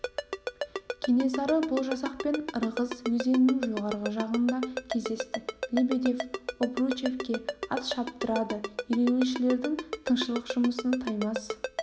кенесары бұл жасақпен ырғыз өзенінің жоғарғы жағында кездесті лебедев обручевке ат шаптырады ереуілшілердің тыңшылық жұмысын таймас